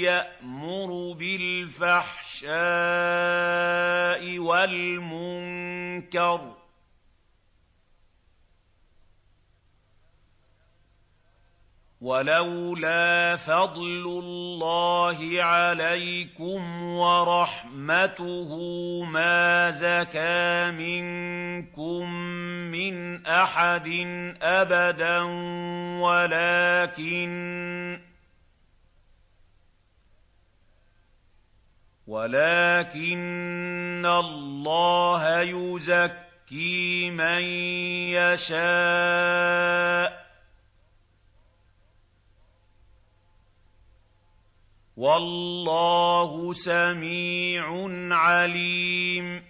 يَأْمُرُ بِالْفَحْشَاءِ وَالْمُنكَرِ ۚ وَلَوْلَا فَضْلُ اللَّهِ عَلَيْكُمْ وَرَحْمَتُهُ مَا زَكَىٰ مِنكُم مِّنْ أَحَدٍ أَبَدًا وَلَٰكِنَّ اللَّهَ يُزَكِّي مَن يَشَاءُ ۗ وَاللَّهُ سَمِيعٌ عَلِيمٌ